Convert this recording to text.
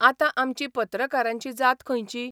आतां आमची पत्रकारांची जात खंयची?